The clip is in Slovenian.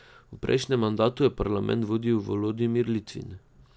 V prejšnjem mandatu je parlament vodil Volodimir Litvin.